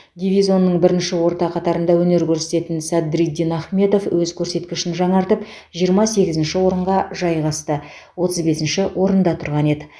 дивизонның бірінші орта қатарында өнер көрсететін садриддин ахмедов өз көрсеткішін жаңартып жиырма сегізінші орынға жайғасты отыз бесінші орында тұрған еді